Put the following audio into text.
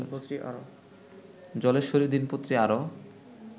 জলেশ্বরীর দিনপত্রী আরও